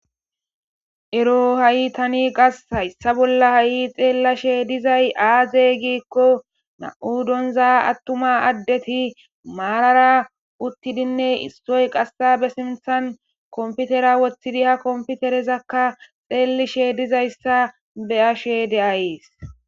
ero ha7i tani qas hayssa bolla ha7i xeellashe dizay aaze giikko na7u donza attuma addeti maalara uttidinne istoy qassa be simthan komputera woththidi ha komputerezakka xeelishe dizayssa be ashe de7ayees